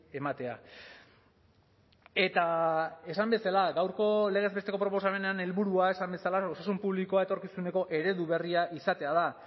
ematea eta esan bezala gaurko legez besteko proposamenean helburua esan bezala osasun publikoa etorkizuneko eredu berria izatea da